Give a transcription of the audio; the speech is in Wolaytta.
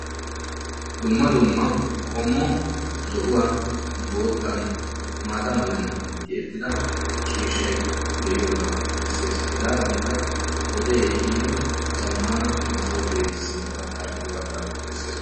dumma dumma qommo zo'uwan, bootan ciishsha meran tiyettida ciishay beetees. hegaadankka zamaana masoofee de'iyoogaa besees.